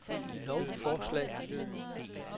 lovforslag